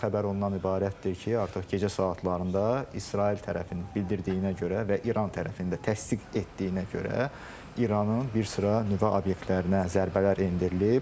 Xəbər ondan ibarətdir ki, artıq gecə saatlarında İsrail tərəfinin bildirdiyinə görə və İran tərəfinin də təsdiq etdiyinə görə İranın bir sıra nüvə obyektlərinə zərbələr endirilib.